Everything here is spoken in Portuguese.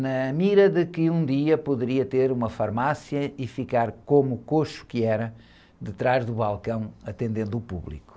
na mira de que um dia poderia ter uma farmácia e ficar, como o coxo que era, detrás do balcão, atendendo o público.